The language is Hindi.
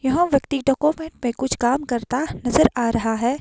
यहां व्यक्ति डॉक्यूमेंट में कुछ काम करता नजर आ रहा है।